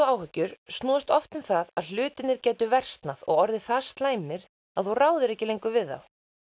áhyggjur snúast oft um það að hlutirnir gætu versnað og orðið það slæmir að þú ráðir ekki lengur við þá